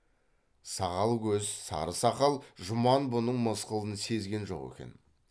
сағал көз сары сақал жұман бұның мысқылын сезген жоқ екен